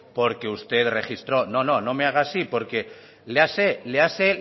porque usted registró no no no me haga así por que léase